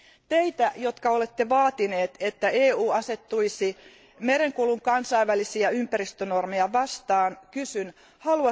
Teiltä, jotka olette vaatineet, että EU asettuisi merenkulun kansainvälisiä ympäristönormeja vastaan, kysyn seuraavat kysymykset.